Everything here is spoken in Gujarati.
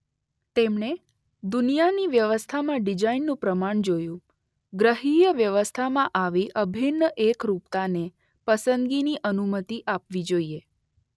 તેમણે દુનિયાની વ્યવસ્થામાં ડીઝાઇનનું પ્રમાણ જોયું ગ્રહીય વ્યવસ્થામાં આવી અભિન્ન એકરુપતાને પસંદગીની અનુમતી આપવી જોઈએ.